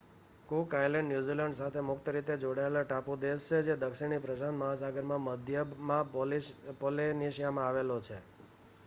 cook Island New Zealand સાથે મુક્ત રીતે જોડાયેલો ટાપુ દેશ છે જે દક્ષિણી પ્રશાંત મહાસાગરમાં મધ્યમાં પૉલિનેશિયામાં આવેલો છે